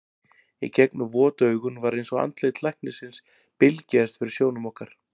Í gegnum vot augun var eins og andlit læknisins bylgjaðist fyrir sjónum okkar.